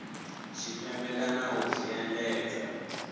tshipembe kana u zwi endedza